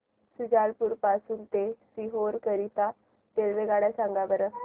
शुजालपुर पासून ते सीहोर करीता रेल्वेगाड्या सांगा बरं